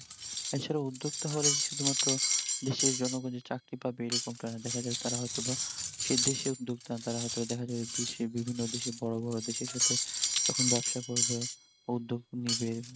এছাড়া উদ্যোগতা হলে যে শুধু মাত্র দেশের জন্য কোনও চাকরি পাবে এরকমটা না, দ্যাখা যাবে তারা হয়তো বা সে দেশের উদ্যোগতা তারা হয়তো দ্যাখা যাবে বিশ্বের বিভিন্ন দেশে বিভিন্ন বড় বড় দেশের সাথে তখন ব্যবসা করবে বা উদ্যোগ নিবে